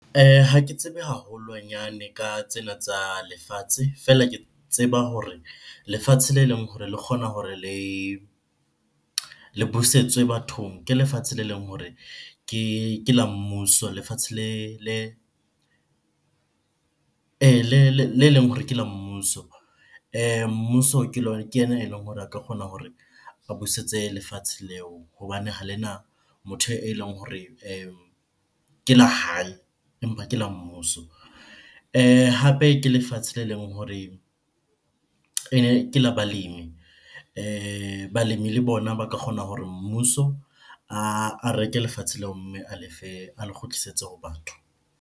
Ha ke tsebe haholwanyane ka tsena tsa lefatshe, feela ke tseba hore lefatshe le leng hore le kgona hore le busetswe bathong ke lefatshe le leng hore ke la mmuso, lefatshe le le leng hore ke la mmuso. Mmuso ke ke ena eleng hore a ka kgona hore a busetse lefatshe leo hobane ha lena motho eleng hore ke la hae empa ke la mmuso. Hape ke lefatshe le leng hore ene ke la balemi balemi le bona ba ka kgona hore mmuso a reke lefatshe leo mme a lefe, a le kgutlisetse ho batho.